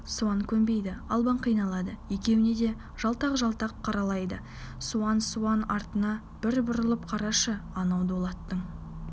суан көнбейді албан қиналады екеуіне де жалтақ-жалтақ қарайлайды суан суан артыңа бір бұрылып қарашы анау дулаттың